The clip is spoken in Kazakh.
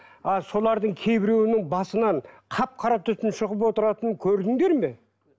а солардың кейбіреуінің басынан қап қара түтін шығып отыратынын көрдіңдер ме